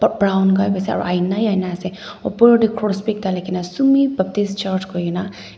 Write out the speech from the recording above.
brown kyp ase aro aina he aina he ase opor tae cross bi ekta likhina sumi baptist church koikena--